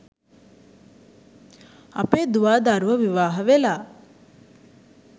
අපේ දුවා දරුවෝ විවාහ වෙලා